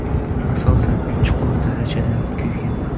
Asosan chuqur darajada kuygan.